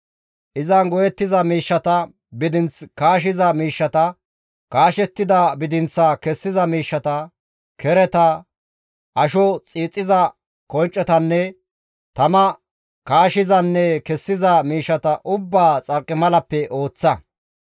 Izan go7ettiza miishshata, Bidinth kaashiza miishshata, kaashettida bidinththaa kessiza miishshata, kereta, asho xiixiza konccetanne tama kaachizanne kessiza miishshata ubbaa xarqimalappe ooththa.